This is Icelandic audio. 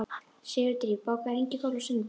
Sigurdríf, bókaðu hring í golf á sunnudaginn.